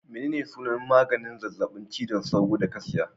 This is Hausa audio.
Menene sunan maganin zazzabin cizon sauro da ka siya